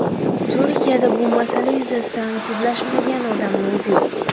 Turkiyada bu masala yuzasidan sudlashmagan odamni o‘zi yo‘q.